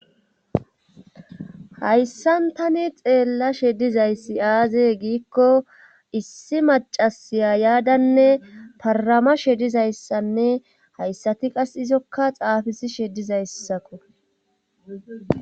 Hayssan tani xeella shedizayssi aaze giikko issi macasiya yaadanne parama shedizayssanne hayssati qas izokka xaafisi shedizayssako.